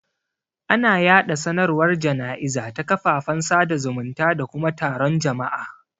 Ana yaɗa sanarwar jana'iza ta kafafen sada zumunta da kuma taron jama'a.